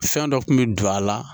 Fɛn dɔ kun bɛ don a la